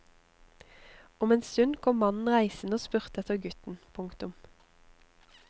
Om en stund kom mannen reisende og spurte etter gutten. punktum